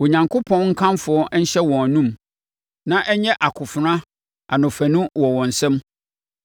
Onyankopɔn nkamfo nhyɛ wɔn anomu na ɛnyɛ akofena anofanu wɔ wɔn nsam,